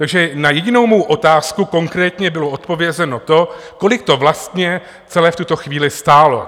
Takže na jedinou mou otázku konkrétně bylo odpovězeno to, kolik to vlastně celé v tuto chvíli stálo.